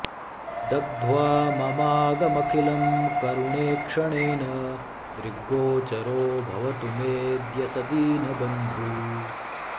दग्ध्वा ममाघमखिलं करुणेक्षणेन दृग्गोचरो भवतु मेऽद्य स दीनबन्धुः